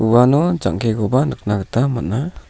uano jang·kekoba nikna gita man·a.